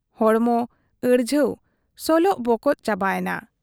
ᱦᱚᱲᱢᱚ ᱟᱹᱲᱡᱷᱟᱹᱣ ᱥᱚᱞᱚᱜ ᱵᱚᱠᱚᱜ ᱪᱟᱵᱟᱭᱮᱱᱟ ᱾